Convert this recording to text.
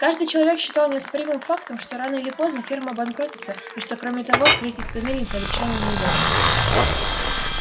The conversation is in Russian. каждый человек считал неоспоримым фактом что рано или поздно ферма обанкротится и что кроме того строительство мельницы обречено на неудачу